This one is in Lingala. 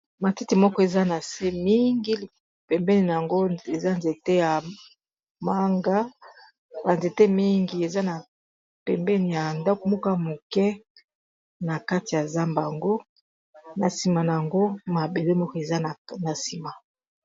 Matiti moko eza na se mingi pembeni na yango eza nzete ya manga ba nzete, mingi eza na pembeni ya ndakumoka moke na kati ya zamba ango na nsima na yango mabele moko eza na nsima.